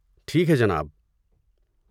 ٹھیک ہے جناب۔